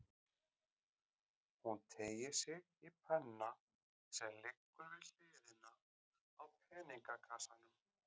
Hún teygir sig í penna sem liggur við hliðina á peningakassanum.